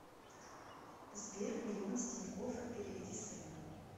сбер миллион с тинькоффа переведи сыну